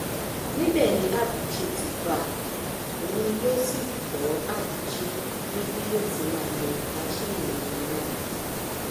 níbẹ ni abuchi ti bá a òun lọ sí kó abúchi ni bí yóò ti máa lo masinni omi náà